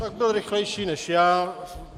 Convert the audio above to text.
Tak byl rychlejší než já.